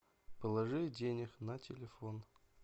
положи денег на телефон